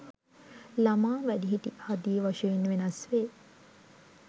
ළමා, වැඩිහිටි ආදි වශයෙන් වෙනස් වේ.